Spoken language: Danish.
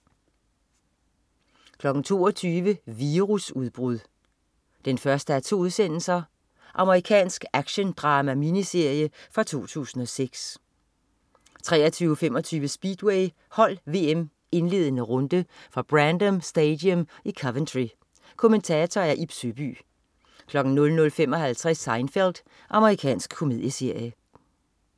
22.00 Virusudbrud 1:2. Amerikansk actiondrama-miniserie fra 2006 23.25 Speedway: Hold VM indledende runde. Fra Brandon Stadium i Coventry. Kommentator: Ib Søby 00.55 Seinfeld. Amerikansk komedieserie